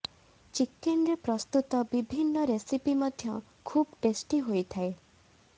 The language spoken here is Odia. ଚିକେନ୍ରେ ପ୍ରସ୍ତୁତ ବିଭିନ୍ନ ରେସିପି ମଧ୍ୟ ଖୁବ୍ ଟେଷ୍ଟି ହୋଇଥାଏ